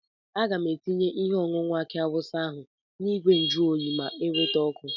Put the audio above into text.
Aga m etinye ihe ọnụnọ aki awụsa ahụ na ìgwè njuoyi ma eweta ọkụ.